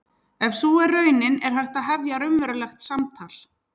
Ef sú er raunin er hægt að hefja raunverulegt samtal.